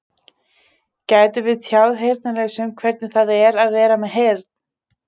Gætum við tjáð heyrnarlausum hvernig það er að vera með heyrn?